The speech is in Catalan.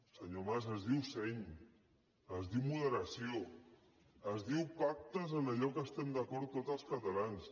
senyor mas es diu seny es diu moderació es diu pactes en allò que estem d’acord tots els catalans